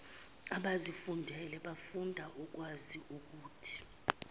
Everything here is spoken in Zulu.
abazifundelwayo bafunda ukwaziukuthi